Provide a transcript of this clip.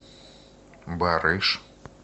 барыш